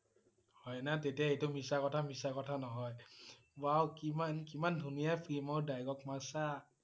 হয় না? তেতিয়া এইটো মিছা কথা মিছা কথা নহয় wow কিমান~কিমান ধুনীয়া film ৰ dialogue মাৰিচা